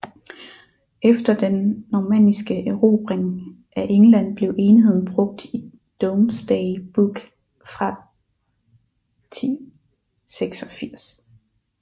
Efter den normanniske erobring af England blev enheden brugt i Domesday Book fra 1086